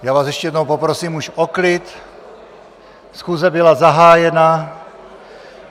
Já vás ještě jednou poprosím už o klid, schůze byla zahájena.